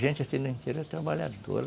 Gente assim, no interior, trabalhadora.